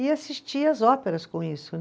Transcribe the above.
E assistia as óperas com isso.